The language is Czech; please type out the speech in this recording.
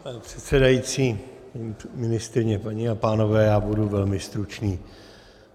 Pane předsedající, ministryně, paní a pánové, já budu velmi stručný.